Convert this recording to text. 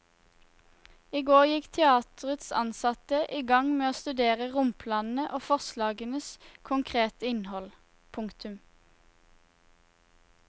I går gikk teaterets ansatte i gang med å studere romplanene og forslagenes konkrete innhold. punktum